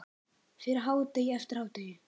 Fyrir hádegi, eftir hádegi.